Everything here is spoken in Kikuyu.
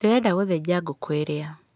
Ndĩrenda gũthĩnja ngũkũ ĩrĩa.